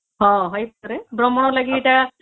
ହଁ ସେଇ ଭ୍ରମଣ ଲାଗି ସେଟା